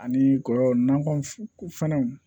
Ani kɔyɔ nakɔ fɛnw